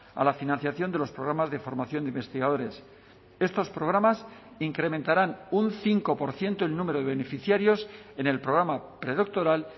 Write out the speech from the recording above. a la financiación de los programas de formación de investigadores estos programas incrementarán un cinco por ciento el número de beneficiarios en el programa predoctoral